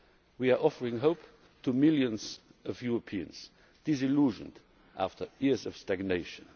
environment. We are offering hope to millions of Europeans, disillusioned after years of